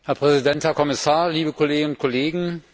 Herr Präsident, Herr Kommissar, liebe Kolleginnen und Kollegen!